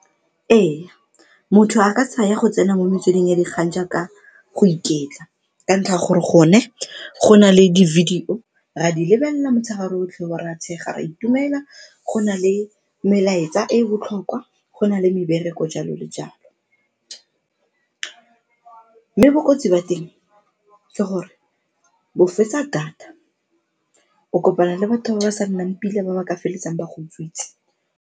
Ee, motho a ka tsaya go tsena mo metsweding ya dikgang jaaka go iketla ka ntlha ya gore gone go na le di-video re a di lebelela motshegare otlhe ra tshega, ra itumela, go na le melaetsa e e botlhokwa go na le mebereko jalo le jalo. Mme bokotsi ba teng ke gore bo fetsa data, o kopana le batho ba ba sa nnang pila ba ba ka feletsang ba go utswitse.